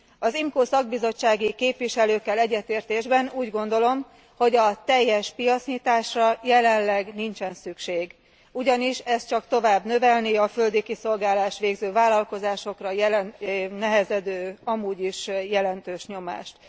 Az IMCO szakbizottsági képviselőkkel egyetértésben úgy gondolom, hogy teljes piacnyitásra jelenleg nincsen szükség, ugyanis ez csak tovább növelné a földi kiszolgálást végző vállalkozásokra nehezedő amúgy is jelentős nyomást.